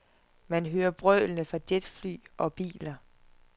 Man hører brølene fra jetfly og biler.